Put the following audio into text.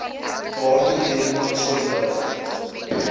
waartoe redelike konsolidasie